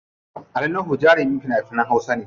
Ali Nuhu jarumin fina finan hausa ne.